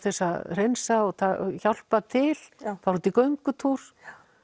þess að hreinsa eða hjálpa til fara út í göngutúr